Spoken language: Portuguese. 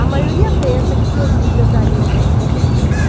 A maioria pensa que suas vidas dariam bons romances.